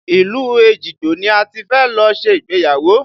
Ilu Ejigbo ni a ti fẹ́ lọ ṣe ìgbéyàwó